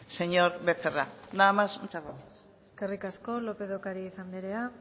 señor becerra nada más muchas gracias eskerrik asko lópez de ocariz anderea